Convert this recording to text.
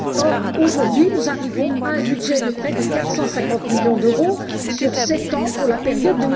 Or, aujourd'hui, nous arrivons à un budget de près de 450millions d'euros sur sept ans, pour la période